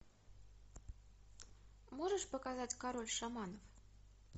можешь показать король шаманов